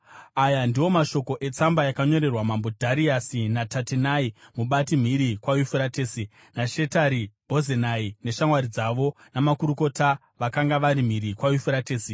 Aya ndiwo mashoko etsamba yakanyorerwa mambo Dhariasi naTatenai, mubati mhiri kwaYufuratesi, naShetari-Bhozenai, neshamwari dzavo, namakurukota vakanga vari mhiri kwaYufuratesi.